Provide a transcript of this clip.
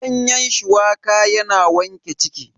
Ganyen shuwaka yana wanke ciki.